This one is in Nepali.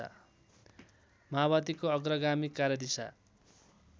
माओवादीको अग्रगामी कार्यदिशा